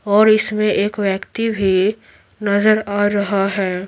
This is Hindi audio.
और इसमें एक व्यक्ति भी नजर आ रहा है।